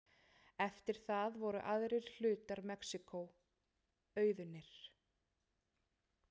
Eftir það voru aðrir hlutar Mexíkó auðunnir.